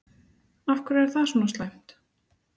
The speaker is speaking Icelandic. Af hverju er það svona slæmt?